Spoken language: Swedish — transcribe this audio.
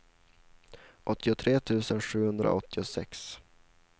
åttiotre tusen sjuhundraåttiosex